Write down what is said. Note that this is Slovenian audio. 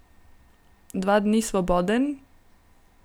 Dva dni svoboden?